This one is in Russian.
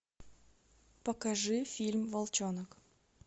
покажи фильм волчонок